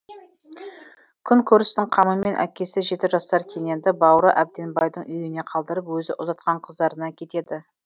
күн көрістің қамымен әкесі жеті жасар кененді бауыры әбденбайдың үйіне қалдырып өзі ұзатқан қыздарына кетеді